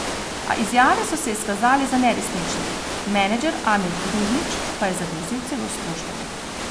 A izjave so se izkazale za neresnične, menedžer Amir Ružnić pa je zagrozil celo s tožbami.